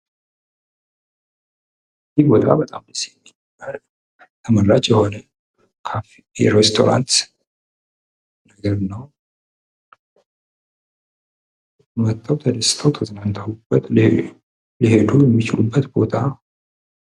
ቦታው በጣም ደስ የሚል ተመራጭ የሆነ ካፌ ወይ ሬስቶራንት ነው። መተው ተደስተው ተዝናንተውበት መሄድ የሚችሉበት ቦታ ነው።